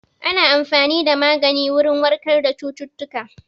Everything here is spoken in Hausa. Ana amfani da magani wurin warkar da cututtuka